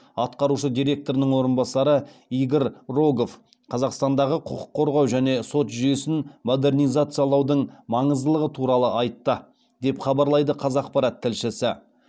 атқарушы директорының орынбасары игорь рогов қазақстандағы құқық қорғау және сот жүйесін модернизациялаудың маңыздылығы туралы айтты деп хабарлайды қазақпарат тілшісі